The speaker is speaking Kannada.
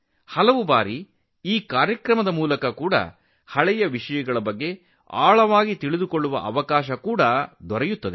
ಅನೇಕ ಬಾರಿ ಈ ಕಾರ್ಯಕ್ರಮದ ಮೂಲಕ ಕೆಲವು ಹಳೆಯ ವಿಷಯಗಳ ಆಳವನ್ನು ತಿಳಿಯುವ ಅವಕಾಶವೂ ನಮಗೆ ಸಿಗುತ್ತದೆ